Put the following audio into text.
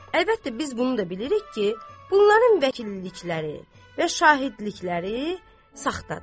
Əlbəttə, biz bunu da bilirik ki, bunların vəkillikləri və şahidlikləri saxtadır.